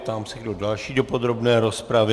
Ptám se, kdo další do podrobné rozpravy.